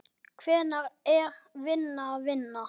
Hvenær er vinna vinna?